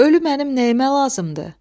Ölüm mənim nəyimə lazımdır?